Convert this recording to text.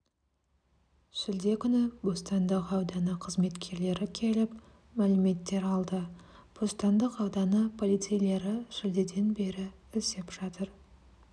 шілде күні бостандық ауданы қызметкерлері келіп мәліметтер алды бостандық ауданы полицейлері шілдеден бері іздеп жатыр